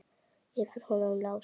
Yfir honum Lása?